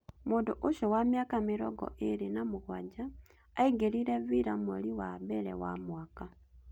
Mũndũ ũcio wa mĩaka mĩrongo ĩĩrĩ na mũganja aingĩrire Villa mweri wa mbere wa mwaka